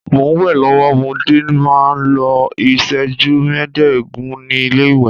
Mo n we lọwọ, mo dé máa n lo iṣẹju meedogun ni ile-iwe